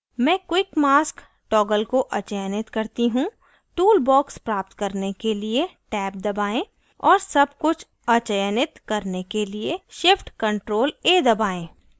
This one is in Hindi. मैं quick mask toggle को अचयनित करती हूँ टूल बॉक्स प्राप्त करने के लिए टैब दबाएं और tab कुछ अचयनित करने के लिए shift + ctrl + a दबाएं